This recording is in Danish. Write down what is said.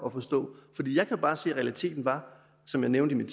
at forstå for jeg kan bare se at realiteten var som jeg nævnte